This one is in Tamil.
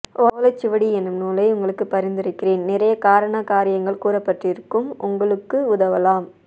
ஓலைச் சுவடி என்னும்நூலை உங்களுக்குப் பரிந்துரைக்கிறேன் நிறைய காரண காரியங்கள் கூறப்பட்டிருக்கும் உங்களுக்கு உதவலாம்